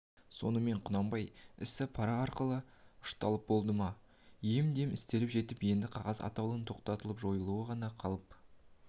сонымен құнанбай ісі пара арқылы ұшталып болды да ем-дем істеліп жетіп енді қағаз атаулының тоқталып жойылуы ғана қалып